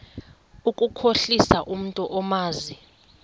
ukukhohlisa umntu omazi